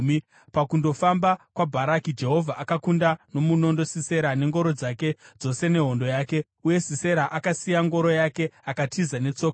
Pakungofamba kwaBharaki, Jehovha akakunda nomunondo Sisera nengoro dzake dzose nehondo yake, uye Sisera akasiya ngoro yake akatiza netsoka.